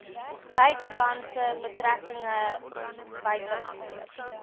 buitelandse betrekkinge buitelandse